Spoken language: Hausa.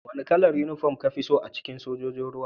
Wane kalar uniform ka fi so a cikin Sojojin ruwa?